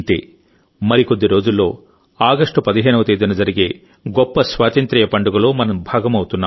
మరికొద్ది రోజుల్లో ఆగస్టు 15వ తేదీన జరిగే గొప్ప స్వాతంత్య్ర పండుగలో మనం భాగమవుతున్నాం